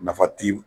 Nafa ti